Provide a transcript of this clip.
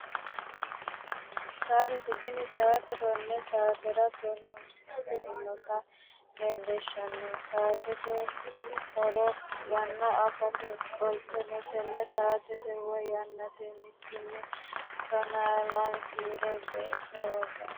Saatete tini saate tonne saatera tonnu sainota leellishshanno. Saatete horo yanna afate qoleno tenne saatete woy yannate mittunni tonaa lame kiiro geeshsha worroonni.